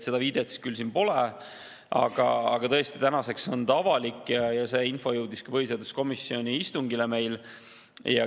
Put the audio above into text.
Seda viidet siin küll pole, aga tõesti, tänaseks on see avalik ja see info jõudis ka põhiseaduskomisjoni istungile.